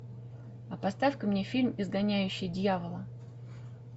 а поставь ка мне фильм изгоняющий дьявола